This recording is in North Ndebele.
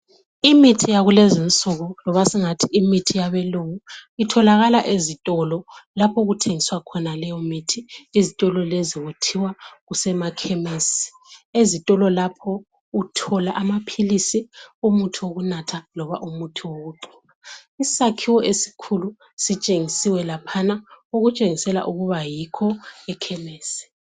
imithi yakulezinsuku loba singathi imithi yabelungu itholakala ezitolo lapho okuthengiswa khona leyo mithi ezitolo lezi kuthiwa kusemakhemesi ezitolo lapho uthola amaphilisi umuthi wokunatha loba umuthi wokugcoba isakhiwo esikhulu sitshengisiwe laphana okutshengisela ukuba yikho ekhemesi